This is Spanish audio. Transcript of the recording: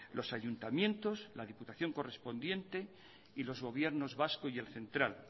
los ayuntamientos la diputación correspondiente y los gobiernos vasco y el central